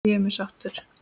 Ég er mjög sáttur.